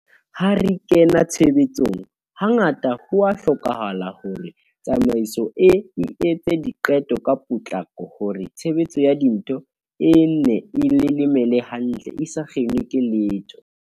Ha re kena tshebetsong, hangata ho a hlokahala hore tsamaiso e etse diqeto ka potlako hore tshebetso ya dintho e nne e lelemele hantle e sa kginwe ke letho.